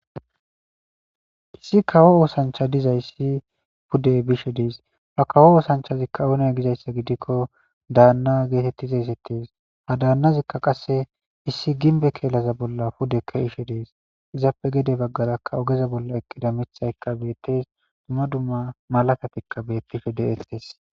Issi kawo oosancha dizayssi pudde bishe dees ha kawo oosanchazikka oone gizayssa gidikko daanna geetettizaysettees ha daannazikka qasse issi ginbe keelaza bolla pudekka ishe dees izaappe gede baggalakka ogeza bolla eqqida mithaykka beettes dumma dumma malatatikka bettishe deettees